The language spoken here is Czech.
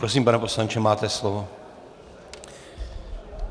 Prosím, pane poslanče, máte slovo.